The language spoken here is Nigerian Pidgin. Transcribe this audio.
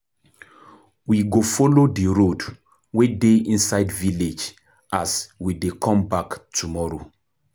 We go folo di road wey dey inside village as we dey come back tomorrow.